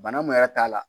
Bana mun yɛrɛ t'a la